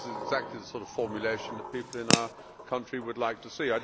I think this is exactly the sort of formulation that people in our country would like to see.